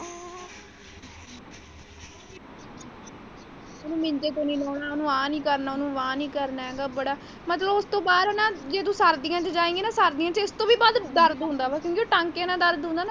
ਉਹਨੂੰ ਮੰਜੇ ਤੋਂ ਨਹੀਂ ਲਾਣਾ ਉਹਨੂੰ ਆ ਨਹੀਂ ਕਰਨਾ ਉਹਨੂੰ ਵਾਹ ਨਹੀਂ ਕਰਨਾ ਮਤਲਬ ਉਸ ਤੋਂ ਬਾਅਦ ਨਾ ਇਹ ਬੜਾ ਜੇ ਤੂੰ ਸਰਦੀਆਂ ਚ ਜਾਏਗੀ ਨਾ ਸਰਦੀਆਂ ਚ ਇਸ ਤੋਂ ਵੀ ਵੱਧ ਦਰਦ ਹੁੰਦਾ ਹੈ ਕਿਉਂਕਿ ਉਹ ਟਾਂਗੇ ਦੇ ਨਾਲ ਦਰਦ ਹੁੰਦਾ ਹੈ ਨਾ।